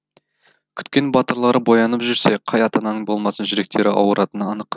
күткен батырлары боянып жүрсе қай ата ананың болмасын жүректері ауыратыны анық